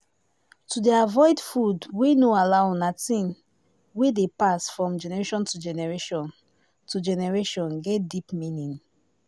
to dey avoid food wey no allow na thing wey dey pass from generation to generation to generation get deep meaning